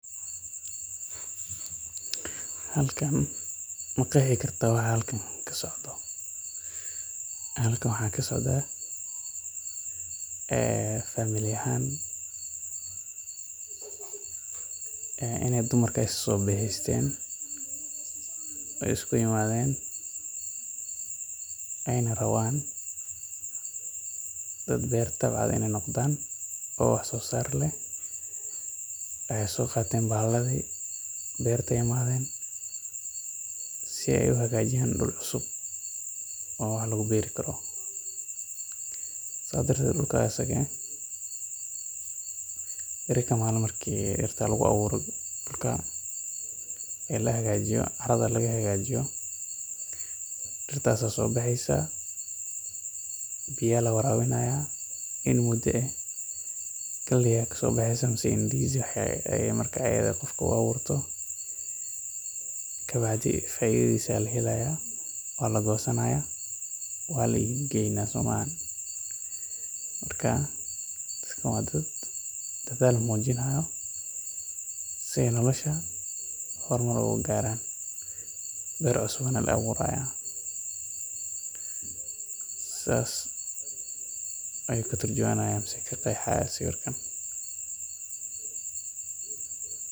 Halkan maqeexi karta waxa kasocda, waxa kasocda famil ahaan inaay dumarka isku imadeen, aay rabaan dad beer tabce inaay noqdaan, si aay uhaagajiyaan dul cusub, marka dirta lagu soo beero, lagu warabiyo galey, kabacdi waa lagoosanaya, dadkan waa dad dadaal mujinaaya, dir cusub ayeey abuuri haayan.